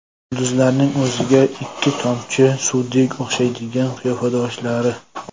Yulduzlarning o‘ziga ikki tomchi suvdek o‘xshaydigan qiyofadoshlari .